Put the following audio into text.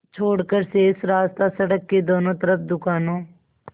छोड़कर शेष रास्ता सड़क के दोनों तरफ़ दुकानों